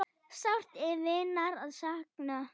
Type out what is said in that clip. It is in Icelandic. Sárt er vinar að sakna.